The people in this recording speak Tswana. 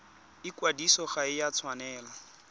ikwadiso ga e a tshwanela